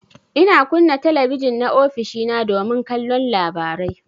Ina kunna talabijin na ofishina domin kallon labarai.